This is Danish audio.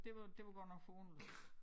Det var det var godt nok forunderligt